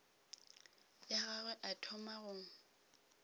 ya gagwe a thoma go